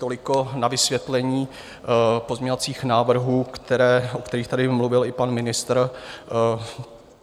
Toliko na vysvětlení pozměňovacích návrhů, o kterých tady mluvil i pan ministr.